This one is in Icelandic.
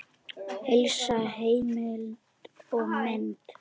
Helsta heimild og mynd